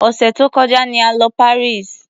Òsẹ̀ tó kọjá ni a lọ Paris.